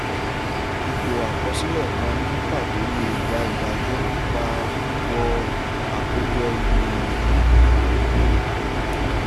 ipò àkọsílẹ̀ kan ní pàtó lè gbà ìdájọ́ nípa wíwo àkójọ ìgbìyànjú